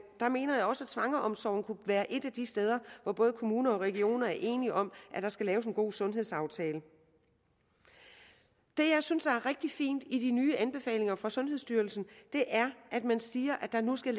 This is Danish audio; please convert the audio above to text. mener jeg også at svangreomsorgen kunne være et af de steder hvor både kommuner og regioner enige om at der skal laves en god sundhedsaftale det jeg synes er rigtig fint i de nye anbefalinger fra sundhedsstyrelsen er at man siger at der nu skal